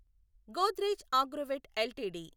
Godrej Agrovet LTD